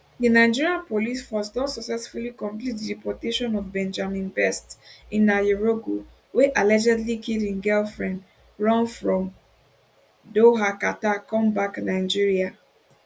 di nigeria police force don successfully complete di deportation of benjamin best nnayereugo wey allegedly kill im girlfriend run from doha qatar come back nigeria